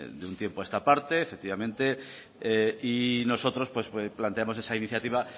de un tiempo a esta parte efectivamente y nosotros planteamos esa iniciativa